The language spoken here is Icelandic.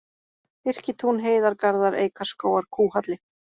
Birkitún, Heiðargarðar, Eikarskógar, Kúhalli